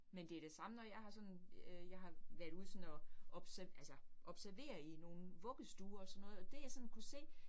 Men det det samme når jeg har sådan øh, jeg har været ude sådan og altså observere i nogle vuggestuer og sådan noget, og det jeg sådan kunne se